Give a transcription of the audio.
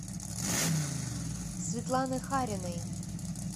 светланы хариной